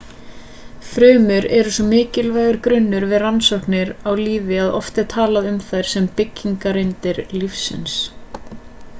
frumur eru svo mikilvægur grunnur við rannsóknir á lífi að oft er talað um þær sem byggingareiningar lífs